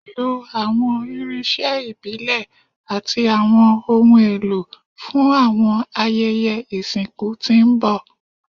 Lo awọn irinṣẹ ibile ati awọn ohun elo fun awọn ayẹyẹ isinku ti n bọ